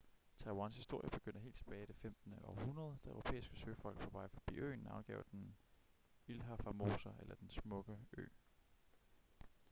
taiwans historie begynder helt tilbage i det 15. århundrede da europæiske søfolk på vej forbi øen navngav den ilha formosa eller den smukke ø